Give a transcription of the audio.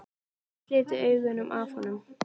Gat ekki slitið augun af honum.